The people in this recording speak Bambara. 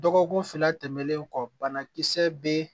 Dɔgɔkun fila tɛmɛnen kɔ bana kisɛ be